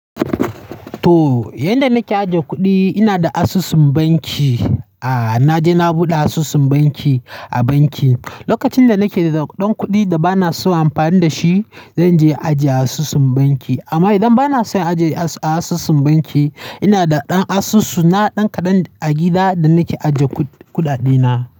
To, yanda nake ajiye kuɗi ina da asusun banki. Aa naje na buɗe asusun banki a banki. Lokacin da nake da ɗan kuɗi da ba na so in yi amfani da shi, zan je ajiye a asusun banki. Amma idan ba na son ajiye a asusun banki, ina da ɗan asusu na ɗan kaɗan a gida da nake ajiye kuɗaɗena.